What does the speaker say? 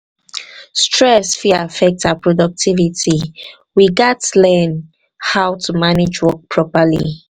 stress fit affect our productivity; we gats learn we gats learn how to manage work properly.